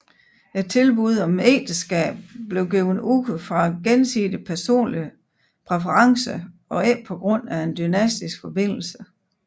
Tilbuddet om ægteskab blev givet ud fra gensidig personlig præference og ikke på grund af en dynastisk forbindelse